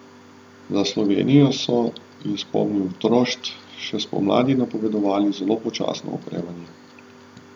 Za Slovenijo so, je spomnil Trošt, še spomladi napovedovali zelo počasno okrevanje.